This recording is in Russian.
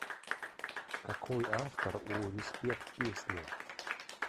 какой автор у респект песня